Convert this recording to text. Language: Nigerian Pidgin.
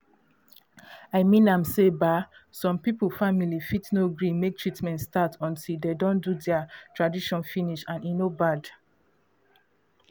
i mean am say um some people family fit no gree make treatment start until de don do dea tradition finish and e no bad